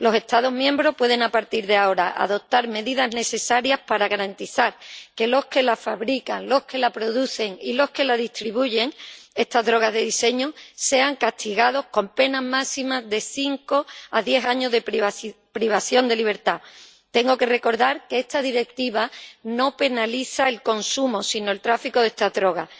A partir de ahora los Estados miembros pueden adoptar las medidas necesarias para garantizar que los que la fabrican, los que la producen y los que la distribuyen —esta droga de diseño— sean castigados con penas máximas de cinco a diez años de privación de libertad. Tengo que recordar que esta Directiva no penaliza el consumo, sino el tráfico de esta droga.